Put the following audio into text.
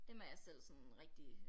Dem er jeg selv sådan rigtig